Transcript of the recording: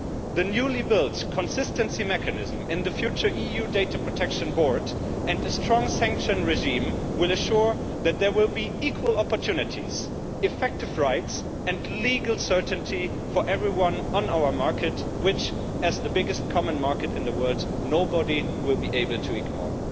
The newly built consistency mechanism in the future EU Data Protection Board and a strong sanction regime will ensure that there will be equal opportunities, effective rights and legal certainty for everyone on our market which, as the biggest common market in the world, nobody will be able to ignore.